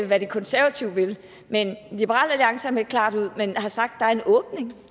hvad de konsevative vil men liberal alliance har meldt klart ud men har sagt at